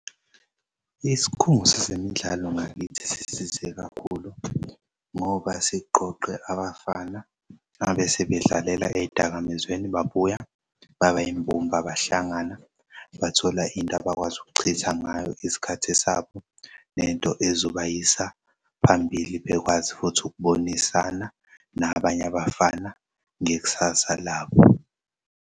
Isikhungo sezemidlalo ngakithi sisize kakhulu ngoba siqoqe abafana ababe sebedlalela ey'dakamizweni babuya baba yimbumbe bahlangana bathola intabakwazi ukuchitha ngayo isikhathi sabo nento ezobayisa phambili bekwazi futhi ukubonisana nabanye abafana ngekusasa labo.